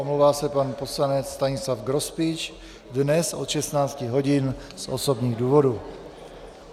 Omlouvá se pan poslanec Stanislav Grospič dnes od 16 hodin z osobních důvodů.